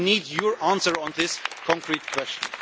We need your answer on this concrete question.